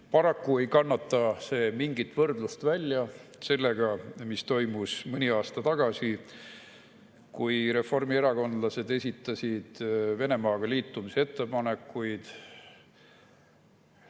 Paraku ei kannata see mingit võrdlust välja sellega, mis toimus mõni aasta tagasi, kui reformierakondlased esitasid Venemaaga liitumise ettepanekuid.